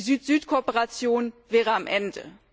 Die Süd Süd Kooperation wäre am Ende.